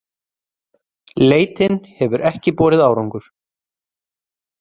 Leitin hefur ekki borið árangur